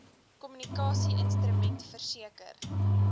kommunikasie instrument verseker